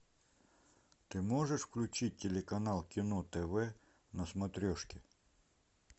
ты можешь включить телеканал кино тв на смотрешке